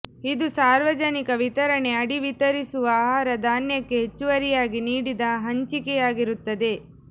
ಇದು ಸಾರ್ವಜನಿಕ ವಿತರಣೆ ಅಡಿ ವಿತರಿಸುವ ಆಹಾರ ಧಾನ್ಯಕ್ಕೆ ಹೆಚ್ಚುವರಿಯಾಗಿ ನೀಡಿದ ಹಂಚಿಕೆಯಾಗಿರುತ್ತದೆ